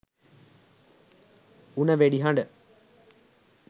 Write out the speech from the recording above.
උණ වෙඩි හඬ